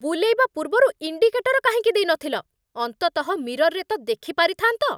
ବୁଲେଇବା ପୂର୍ବରୁ ଇଣ୍ଡିକେଟର କାହିଁକି ଦେଇନଥିଲ? ଅନ୍ତତଃ ମିରର୍‌ରେ ତ ଦେଖି ପାରିଥାନ୍ତ ।